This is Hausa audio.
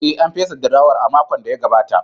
Ee, An fesa durowar a makon da ya gabata.